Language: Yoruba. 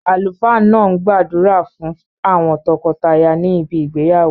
Àlùfáà náà n gbàdúrà fún àwon tokotaya ni ibi ìgbéyàwó